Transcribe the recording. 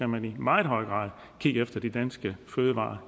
man i meget høj grad kigge efter de danske fødevarer